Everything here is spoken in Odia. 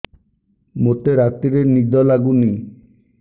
ମୋତେ ରାତିରେ ନିଦ ଲାଗୁନି